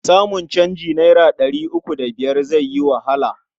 Samun canjin naira ɗari uku da biyar zai yi wahala.